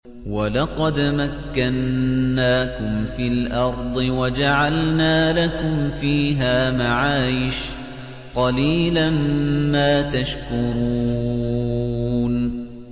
وَلَقَدْ مَكَّنَّاكُمْ فِي الْأَرْضِ وَجَعَلْنَا لَكُمْ فِيهَا مَعَايِشَ ۗ قَلِيلًا مَّا تَشْكُرُونَ